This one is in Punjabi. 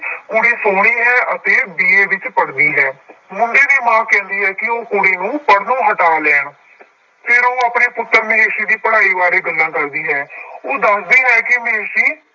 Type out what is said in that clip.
ਕੁੜੀ ਸੋਹਣੀ ਹੈ ਅਤੇ BA ਵਿੱਚ ਪੜ੍ਹਦੀ ਹੈ ਮੁੰਡੇ ਦੀ ਮਾਂ ਕਹਿੰਦੀ ਹੈ ਕਿ ਉਹ ਕੁੜੀ ਨੂੰ ਪੜ੍ਹਨੋ ਹਟਾ ਲੈਣ ਫਿਰ ਉਹ ਆਪਣੇ ਪੁੱਤਰ ਮਹੇਸ਼ੀ ਦੀ ਪੜ੍ਹਾਈ ਬਾਰੇ ਗੱਲਾਂ ਕਰਦੀ ਹੈ ਉਹ ਦੱਸਦੀ ਹੈ ਕਿ ਮਹੇਸ਼ੀ